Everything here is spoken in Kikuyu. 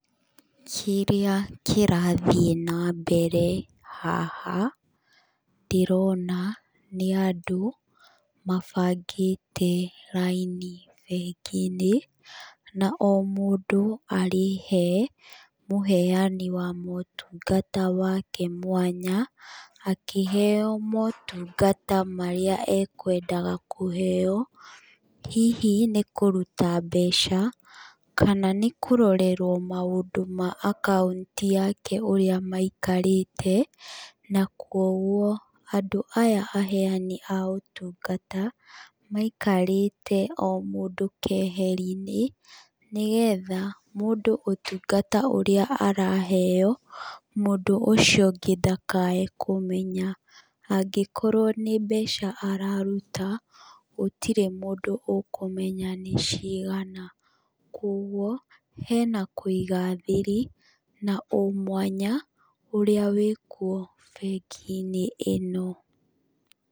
Kĩrĩa kĩrathiĩ na mbere haha, ndĩrona nĩ andũ mabangĩte raini bengi-inĩ. Na o mũndũ arĩ he mũheani wa motungata wake mwanya, akĩheo motungata marĩa ekũendaga kũheeo. Hihi nĩ kũruta mbeca, kana nĩ kũrorerwo maũndũ ma akaunti yake, ũrĩa maikarĩte, na kwoguo, andũ aya aheani a ũtungata, maikarĩte o mũndũ keheri-inĩ, nĩgetha mũndũ ũtungata ũrĩa araheeo, mũndũ ũcio ũngĩ ndakae kũmenya. Angĩkorwo nĩ mbeca araruta, gũtirĩ mũndũ ũkũmenya nĩ cigana. Kwoguo, hena kũiga thiri, na ũmwanya, ũrĩa wĩ kuo bengi-inĩ ĩno.